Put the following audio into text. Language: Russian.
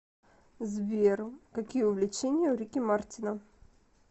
сбер какие увлечения у рики мартина